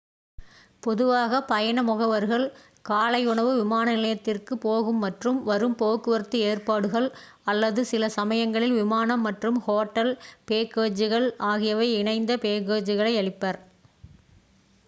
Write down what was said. பொதுவாக பயண முகவர்கள் காலை உணவு விமான நிலையத்திற்கு போகும் மற்றும் வரும் போக்குவரத்து ஏற்பாடுகள் அல்லது சில சமயங்களில் விமானம் மற்றும் ஹோட்டல் பேக்கேஜுகள் ஆகியவை இணைந்த பேக்கேஜுகளை அளிப்பர்